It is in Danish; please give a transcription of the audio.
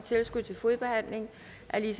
er